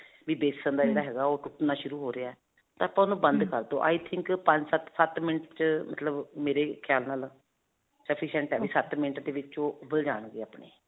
ਵੀ ਬੇਸਨ ਦਾ ਜਿਹੜਾ ਹੈਗਾ, ਉਹ ਘੁਲਣਾ ਸ਼ੁਰੂ ਹੋ ਰਿਹਾ ਤਾਂ ਆਪਾਂ ਉਹ ਨੂੰ ਬੰਦ ਕਰ ਦੋ i think ਪੰਜ ਸੱਤ ਸੱਤ minute 'ਚ ਮਤਲਬ ਮੇਰੇ ਖਿਆਲ ਨਾਲ sufficient ਹੈ. ਉਹ ਸੱਤ minute ਦੇ ਵਿੱਚ ਉਹ ਉਬਲ ਜਾਣਗੇ ਆਪਣੇ.